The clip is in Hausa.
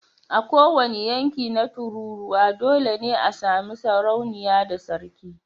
A kowane yanki na tururuwa dole ne a sami sarauniya da sarki